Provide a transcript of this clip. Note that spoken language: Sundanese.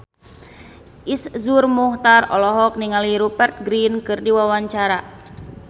Iszur Muchtar olohok ningali Rupert Grin keur diwawancara